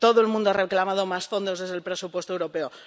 todo el mundo ha reclamado más fondos desde el presupuesto europeo.